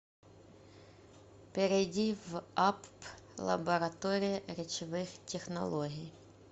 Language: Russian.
перейди в апп лаборатория речевых технологий